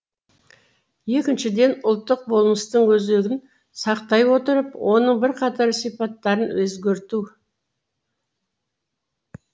екіншіден ұлттық болмыстың өзегін сақтай отырып оның бірқатар сипаттарын өзгерту